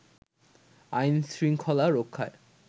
আইনশৃঙ্খলা রক্ষায়